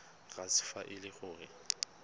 sars fa e le gore